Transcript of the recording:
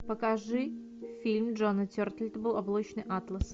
покажи фильм джона тертелтауба облачный атлас